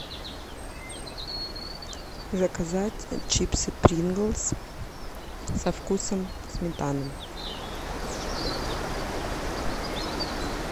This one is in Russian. заказать чипсы принглс со вкусом сметаны